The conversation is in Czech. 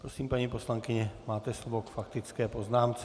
Prosím, paní poslankyně, máte slovo k faktické poznámce.